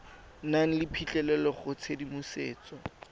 nang le phitlhelelo go tshedimosetso